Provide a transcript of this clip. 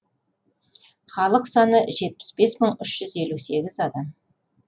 халық саны жетпіс бес мың үш жүз елу сегіз адам